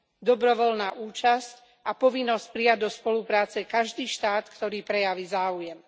Dobrovoľná účasť a povinnosť prijať do spolupráce každý štát, ktorý prejaví záujem.